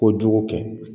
Kojugu kɛ